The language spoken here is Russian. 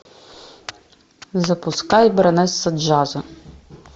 запускай баронесса джаза